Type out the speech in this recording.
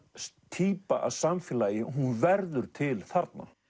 týpa af samfélagi hún verður til þarna